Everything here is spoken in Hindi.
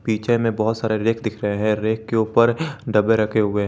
पीछे में बहुत सारे रैक दिख रहे हैं के ऊपर डब्बे रखे हुए हैं।